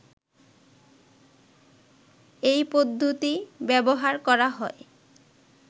এই পদ্ধতি ব্যবহার করা হয়